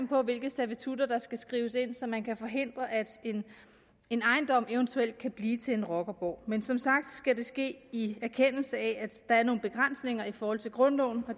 på hvilke servitutter der skal skrives ind så man kan forhindre at en ejendom eventuelt kan blive til en rockerborg men som sagt skal det ske i erkendelse af at der er nogle begrænsninger i forhold til grundloven